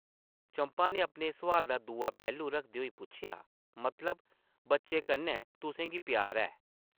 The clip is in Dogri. चंपा नै अपने सोआला दा दूआ पैह्लू रखदे होई पुच्छेआ, ‘‘मतलब, बच्चें कन्नै तुसें गी प्यार ऐ ?’’